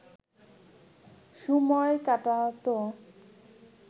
সময় কাটাত